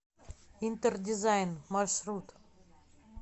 интердизайн маршрут